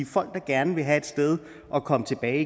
folk der gerne vil have et sted at komme tilbage